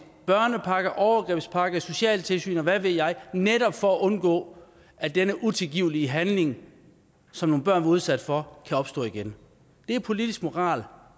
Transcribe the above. børnepakke overgrebspakke socialtilsyn og hvad ved jeg netop for at undgå at denne utilgivelige handling som nogle børn var udsat for kan opstå igen det er politisk moral